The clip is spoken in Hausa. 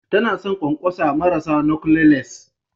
Tana son ƙwanƙwasa marasa knotleless